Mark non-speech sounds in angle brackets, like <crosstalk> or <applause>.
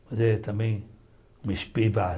Mas é também uma. <unintelligible>